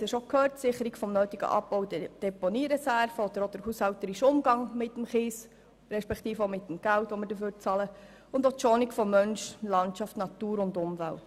Die Sicherung der nötigen Abbau- und Deponiereserven, der haushälterische Umgang mit Kies, respektive mit dem Geld, das wir dafür bezahlen sowie die Schonung von Mensch, Landschaft, Natur und Umwelt.